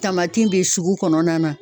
Tamati bɛ sugu kɔnɔna na